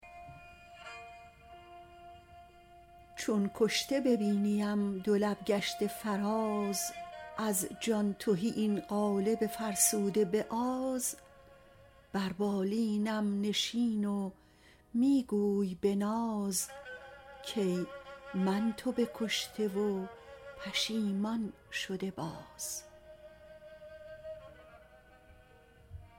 چون کشته ببینی ام دو لب گشته فراز از جان تهی این قالب فرسوده به آز بر بالینم نشین و می گوی به ناز کای من تو بکشته و پشیمان شده باز